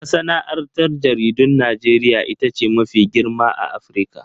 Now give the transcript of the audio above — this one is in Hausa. Masana'antar jaridun Najeriya ita ce mafi girma a Afirka.